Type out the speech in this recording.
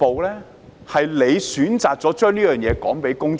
他們選擇將部分事實告訴公眾。